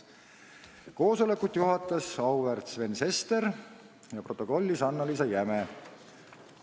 Koosolekut juhatas auväärt Sven Sester ja protokollis Annaliisa Jäme.